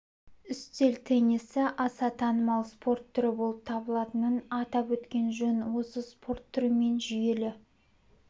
үстел теннисі аса танымал спорт түрі болып табылатынын атап өткен жөн осы спорт түрімен жүйелі